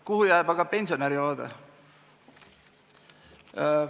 Kuhu jääb aga pensionäri vaade?